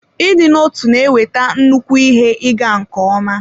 Ịdị n'otu na-eweta nnukwu ihe ịga nke ọma.